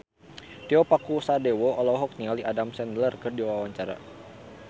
Tio Pakusadewo olohok ningali Adam Sandler keur diwawancara